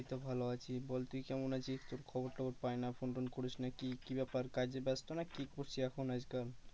এই তো ভালো আছি বল তুই কেমন আছিস? তোর খবর টোবর পাই না phone টোন করিস না কি কি ব্যাপার কাজে ব্যস্ত না কি করছিস এখন আজ কাল?